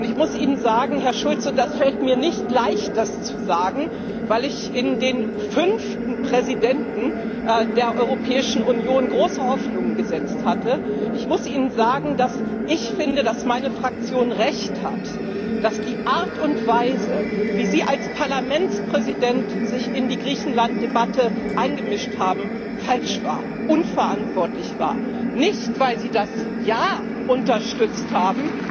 Ich muss Ihnen sagen, Herr Schulz und es fällt mir nicht leicht, das zu sagen, weil ich in den fünften Präsidenten der Europäischen Union große Hoffnungen gesetzt hatte dass ich finde, dass meine Fraktion Recht hat, dass die Art und Weise, wie Sie als Parlamentspräsident sich in die Griechenlanddebatte eingemischt haben, falsch war, unverantwortlich war nicht, weil Sie das Ja unterstützt haben,